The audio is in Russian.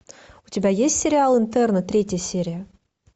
у тебя есть сериал интерны третья серия